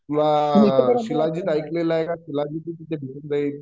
तुला शिलाजीत ऐकला आहे का शिलाजीत तिथे भेटून जाईल